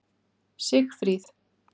Sigfríð